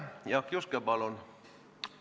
Jaak Juske, palun!